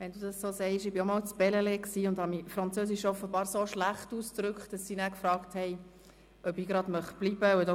Wenn Sie das so sagen: Ich war auch einmal in Bellelay und drückte mich auf Französisch offenbar so schlecht aus, dass sie mich fragten, ob ich bleiben wolle.